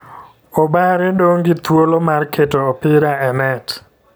obare dong gi thuolo mar keto opira e net .